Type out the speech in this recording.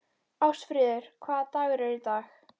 Ástfríður, hvaða dagur er í dag?